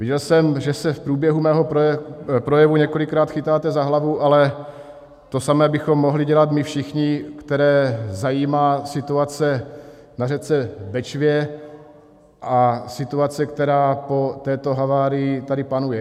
Viděl jsem, že se v průběhu mého projevu několikrát chytáte za hlavu, ale to samé bychom mohli dělat my všichni, které zajímá situace na řece Bečvě, a situace, která po této havárii tady panuje.